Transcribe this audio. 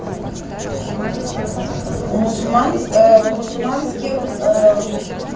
у мусульман в мусульманских